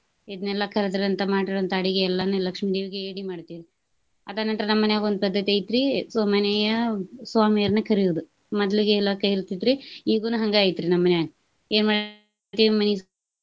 ಇದ್ನೇಲ್ಲಾ ಕರದ್ರಂತ ಮಾಡಿರುವಂತ ಅಡಿಗೆ ಎಲ್ಲಾನು ಲಕ್ಷ್ಮೀದೇವಿಗೆ ಎಡಿ ಮಾಡ್ತೇವ್ರಿ. ಅದನಂತ್ರ ನಮ್ಮ ಮನ್ಯಾಗೊಂದ ಪದ್ದತಿ ಐತ್ರಿ ಮನೆಯ ಸ್ವಾಮಿಯವ್ರನ ಕರ್ಯೋದ. ಮದ್ಲಿಗೆ ಎಲ್ಲಾ ಕರಿತಿದ್ರ ಇಗುನು ಹಂಗ ಐತ್ರಿ ನಮ್ಮ ಮನ್ಯಾಗ ಏನ .